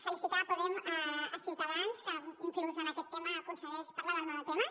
felicitar ciutadans que inclús en aquest tema aconsegueix parlar del monotema